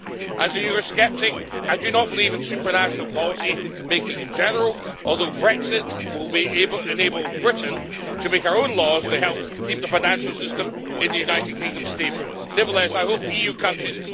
As a Euro-sceptic, I do not believe in supranational policymaking in general, although Brexit will enable Britain to make our own laws to help keep the financial system in the United Kingdom stable. Nevertheless, I hope EU countries